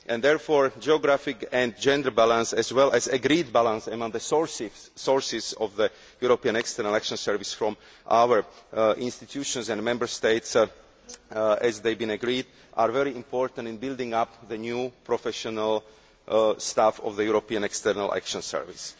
Therefore, geographic and gender balance, as well as an agreed balance among the sources for the European External Action Service from our institutions and Member States, as has been agreed, are very important in building up the new professional staff of the European External Action Service.